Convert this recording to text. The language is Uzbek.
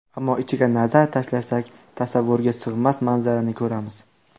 Ammo ichiga nazar tashlasak, tasavvurga sig‘mas manzarani ko‘ramiz.